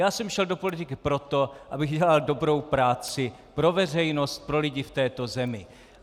Já jsem šel do politiky proto, abych dělal dobrou práci pro veřejnost, pro lidi v této zemi.